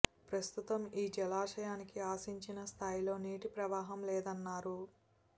ప్రస్తుతం ఈ జలాశయానికి ఆశించిన స్ధాయిలో నీటి ప్రవాహం లేదన్నారు